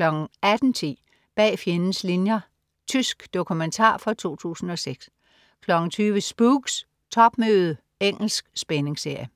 18.10 Bag fjendens linjer. Tysk dokumentar fra 2006 20.00 Spooks: Topmøde. Engelsk spændingsserie